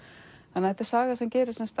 þetta er saga sem gerist